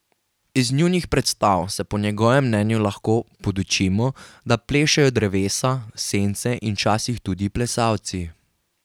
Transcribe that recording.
Iz njunih predstav se po njegovem mnenju lahko podučimo, da plešejo drevesa, sence in včasih tudi plesalci.